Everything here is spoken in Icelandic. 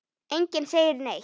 Enginn segir neitt.